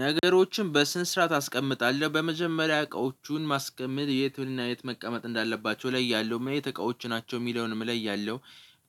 ነገሮችን በስነ ስርዓት አስቀምጣለሁ በመጀመሪያ እቃዎቹን ማስቀመጥ የትና የት መቀመጥ እንዳለባቸው እለያለው ምን አይንት እቃዎች ናቸው የሚለውንም እለያለው።